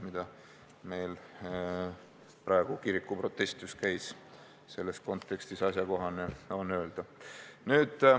Praeguses kontekstis, kus kirikuprotest on päevakorral, on see ehk asjakohane.